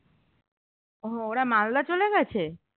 ওহ ওরা মালদা চলে গেছে